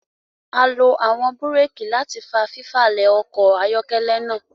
A lo awọn bùréèki láti fà fifalẹ ọkọ ayọkẹlẹ náà